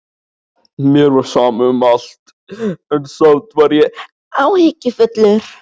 Mér var sama um allt, en samt var ég áhyggjufullur.